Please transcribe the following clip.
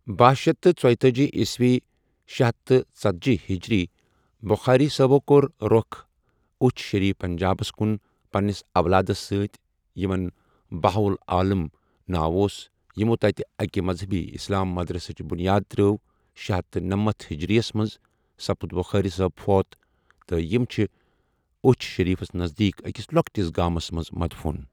بہہَ شیتھ تہٕ ژۄیتأجی ،شے ہتھ تہٕ ژٔتجی ہجری ، بُخاری صٲبو کوٚر روٚخ اُچھ شریٖف پنجابس کُن، پنٕنِس اولادس سٕتی یمن بہَاعُ العاَلم ناو اوس یمو تَتہِ اکہِ مذہبی اِسلام مدرسٕچھ بُنیاد ترٲو شے ہتھَ تہٕ نمتھَ ہجریَس مَنٛز سپُدی بُخاری صٲب فوت تہٕ یمہٕ چھِ اُچھ شریٖفس نزدیٖک أکِس لوٚکٹِس گامس مَنٛز مدفوٗن۔